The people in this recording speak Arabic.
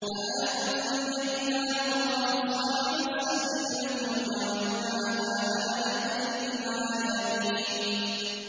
فَأَنجَيْنَاهُ وَأَصْحَابَ السَّفِينَةِ وَجَعَلْنَاهَا آيَةً لِّلْعَالَمِينَ